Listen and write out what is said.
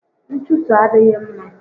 Nchuso adịghị mma